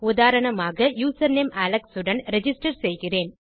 உதாரணமாக username Alex உடன் register செய்கிறேன்